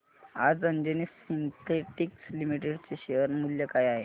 आज Anjani Synthetics Limited चे share मूल्य काय आहे